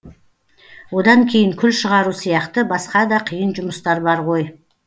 одан кейін күл шығару сияқты басқа да қиын жұмыстар бар ғой